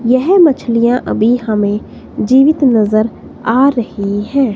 यह मछलियां अभी हमें जीवित नजर आ रही हैं।